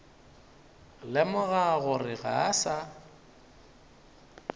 lemoga gore ga a sa